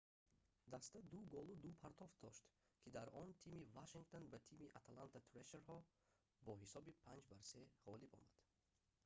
даста 2 голу 2 партофт дошт ки дар он тими вашингтон ба тими атланта трешерҳо бо ҳисоби 5-3 ғолиб омад